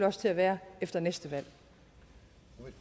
også til at være efter næste